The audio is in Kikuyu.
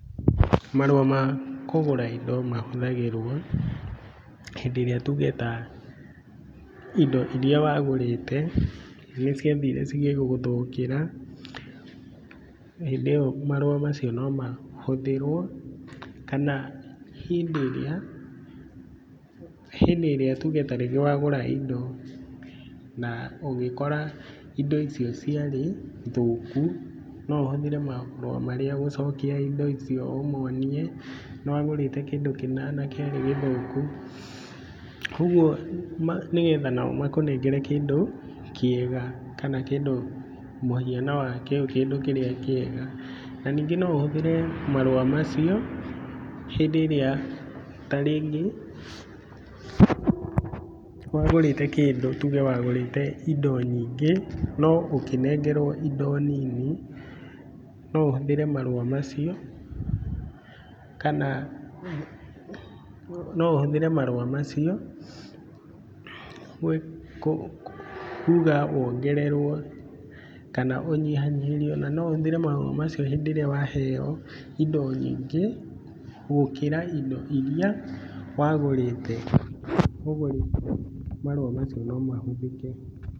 Marũa ma kũgũra ĩndo mahũthagĩrwo, hĩndĩ ĩrĩa tuge ta ĩndo iria wagũrĩte, nĩ ciathiire cigĩgũthukĩra. Hĩndĩ ĩyo marũa macio no mahũthĩrwo, kana hĩndĩ ĩrĩa tuge tarĩngĩ wagũra ĩndo na ũgĩkora ĩndo ĩcio ciarĩ thũku no ũhũthĩre marũa marĩa gũcokia ĩndo icio ũmonie nĩ wagũriĩte kĩndũ kĩna na kĩarĩ gĩthũku. Koguo nĩ getha nao makũnengere kĩndũ kĩega, kana kĩndũ mũhiano wa kĩu kĩndũ kĩrĩa kĩega. Na ningĩ no ũhũthĩre marũa macio hĩndĩ ĩrĩa ta rĩngĩ wagũrĩĩte kĩndũ, tuge wagũrĩte indo nyingĩ no ũkĩnengerwo indo nini, no ũhũthĩre marũa macio kuga wongererwo kana ũnyihanyiherio. Na no ũhũthĩre marũa macio na no ũhũthĩre marũa macio rĩrĩa waheo ĩndo nyingĩ gũkĩra indo iria wagũrĩte. Koguo rĩ, marũa macio no mahũthĩke.